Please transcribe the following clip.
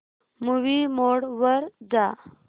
movie mode वर जा